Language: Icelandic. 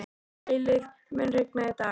Eilíf, mun rigna í dag?